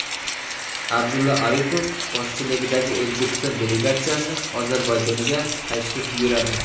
Abdulla Aripov boshchiligidagi O‘zbekiston delegatsiyasi Ozarbayjonga tashrif buyuradi.